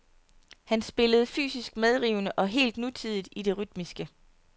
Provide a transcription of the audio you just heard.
Han spillede fysisk medrivende og helt nutidigt i det rytmiske.